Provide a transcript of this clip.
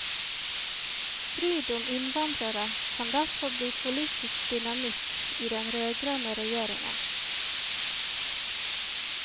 Strid om innvandrere kan derfor bli politisk dynamitt i den rødgrønne regjeringen.